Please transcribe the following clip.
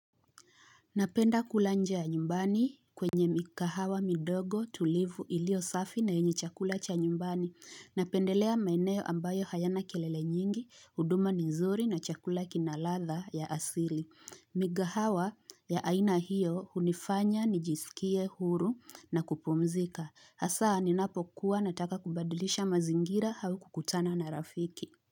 Napenda kula nje ya nyumbani kwenye mikahawa midogo tulivu ilio safi na yenye chakula cha nyumbani. Napendelea maeneo ambayo hayana kelele nyingi, huduma ni nzuri na chakula kina ladha ya asili. Mikahawa ya aina hiyo hunifanya nijisikie huru na kupumzika. Hasa ninapokuwa nataka kubadlisha mazingira au kukutana na rafiki.